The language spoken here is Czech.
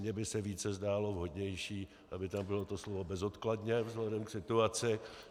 Mně by se více zdálo vhodnější, aby tam bylo to slovo bezodkladně vzhledem k situaci.